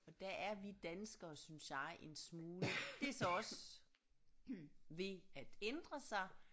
Og der er vi danskere synes jeg en smule det så også ved at ændre sig